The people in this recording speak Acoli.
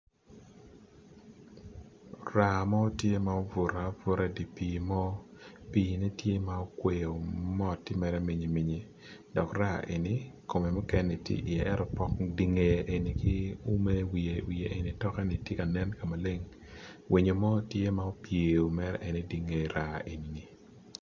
Raa mo tye ma obuto abuta i dipi mo, pi ne tye ma okweyo mot tye mere minyi minyi dok raa eni kome mukene ni tye i ye ento pok nge eni ki ume nge eni ki toke bene tye kanen kamaleng winyo mo tye ma opyeyo mere eni tye i nge raa ni.